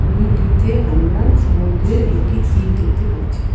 ছবিটিতে আমরা সমুদ্রের একটি তীর দেখতে পাচ্ছি।